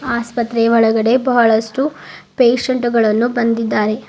ಆಸ್ಪತ್ರೆಯ ಒಳಗಡೆ ಬಹಳಷ್ಟು ಪೇಷಂಟ್ ಗಳನ್ನು ಬಂದಿದ್ದಾರೆ.